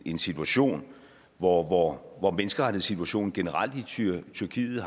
en situation hvor hvor menneskerettighedssituationen generelt i tyrkiet